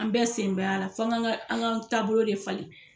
An bɛɛ sen b'a la fɔ an ga an ka taabolo de falen